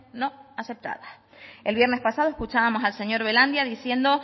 no aceptadas el viernes pasado escuchábamos al señor belandia diciendo